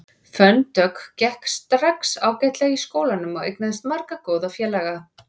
Fönn Dögg gekk strax ágætlega í skólanum og eignaðist marga góða félaga.